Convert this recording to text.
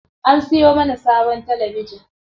An siyo mana sabon talabijin.